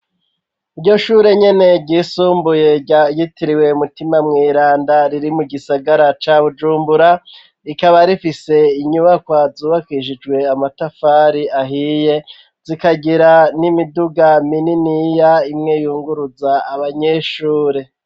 Iryo shure nyene ryisumbuye ryayitiriwe mutima mw'iranda riri mu gisagara ca bujumbura rikaba rifise inyubako azubakishijwe amatafari ahiye zikagira n'imiduga mininiya imwe yunguruza abanyeshure.